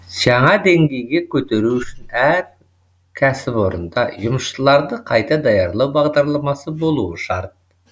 жаңа деңгейге көтеру үшін әр кәсіпорында жұмысшыларды қайта даярлау бағдарламасы болуы шарт